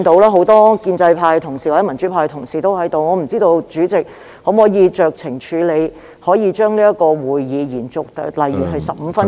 很多建制派及民主派同事均在席，我不知道主席可否酌情處理，將這個會議延續，例如15分鐘......